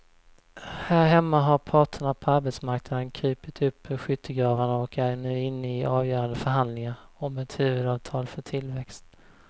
Här hemma har parterna på arbetsmarknaden krupit upp ur skyttegravarna och är nu inne i avgörande förhandlingar om ett huvudavtal för tillväxt.